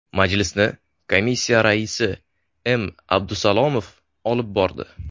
Majlisni komissiya raisi M. Abdusalomov olib bordi.